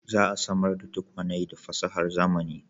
Za a samar da tukwane da fasahar zamani